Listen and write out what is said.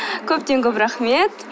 көптен көп рахмет